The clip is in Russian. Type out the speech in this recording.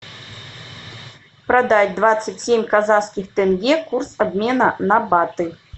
продать двадцать семь казахских тенге курс обмена на баты